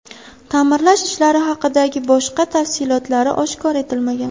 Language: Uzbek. Ta’mirlash ishlari haqidagi boshqa tafsilotlari oshkor etilmagan.